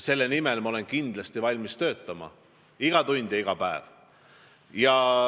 Selle nimel ma olen kindlasti valmis töötama iga päev ja iga tund.